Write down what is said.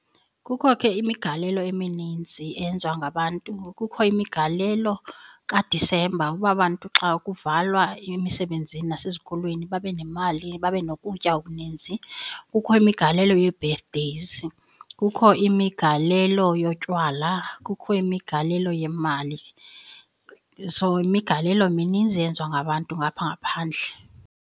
Kukho ke imigalelo emininzi eyenziwa ngabantu. Kukho imigalelo kaDisemba uba bantu xa ukuvalwa emisebenzini nasezikolweni babe nemali, babe nokutya okuninzi. Kukho imigalelo yee-birthdays, kukho imigalelo yotywala, kukho imigalelo yemali. So, imigalelo mininzi eyenziwa ngabantu ngaphaa ngaphandle.